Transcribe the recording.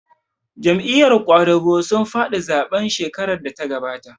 Jam'iyar ƙwadago sun faɗi zaɓen shekarar da ta gabata